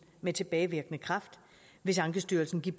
med tilbagevirkende kraft hvis ankestyrelsen giver